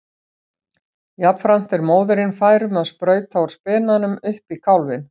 Jafnframt er móðirin fær um að sprauta úr spenanum upp í kálfinn.